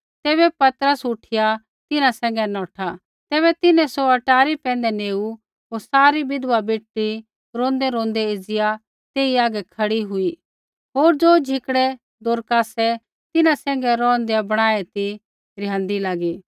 तैबै पतरस उठिया तिन्हां सैंघै नौठा तैबै तिन्हैं सौ अटारी पैंधै नेऊ होर सारी विधवा बेटड़ी रोंदैरोंदै एज़िया तेई आगै खड़ी हुई होर ज़ो झिकड़ै दोरकासै तिन्हां सैंघै रौंहदै बणाऐ ती रिहाँदी लागी